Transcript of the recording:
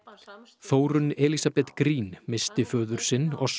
Þórunn Elísabet Green missti föður sinn